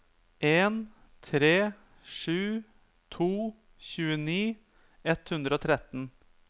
en tre sju to tjueni ett hundre og tretten